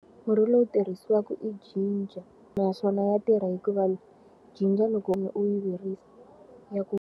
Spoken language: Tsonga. Murhi lowu tirhisiwaka i jinja naswona ya tirha hikuva jinja loko u yi virisa ya ku.